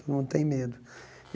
Todo mundo tem medo.